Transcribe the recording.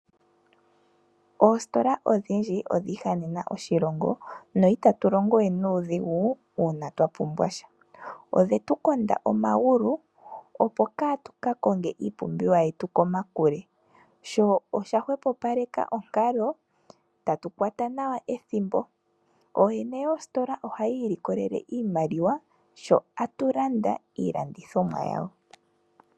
Oositola odhindji odhiihanena oshilongo no itatu longowe nuudhigu uuna twa pumbwasha, odhetu konda omagulu opo kaa tu ka konge iipumbiwa yetu komakule sho osha hwepopaleka onkalo tatu kwata nawa ethimbo. Ooyene yoositola oha yiilikolele iimaliwa sho atu landa iilandithomwa yawo.